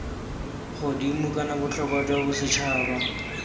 godimo kana botlhokwa jwa bosetšhaba